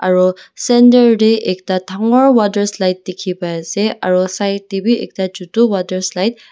aro center tae ekta dhangior water slide dikhipaiase aro side tae bi ekta chutu water slide .